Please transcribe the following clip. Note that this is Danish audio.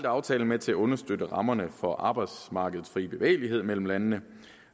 aftalen med til at understøtte rammerne for arbejdskraftens frie bevægelighed mellem landene